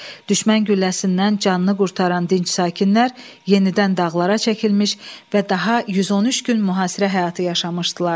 Düşmən gülləsindən canını qurtaran dinc sakinlər yenidən dağlara çəkilmiş və daha 113 gün mühasirə həyatı yaşamışdılar.